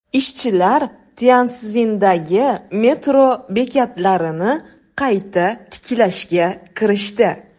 Ishchilar Tyanszindagi metro bekatlarini qayta tiklashga kirishdi.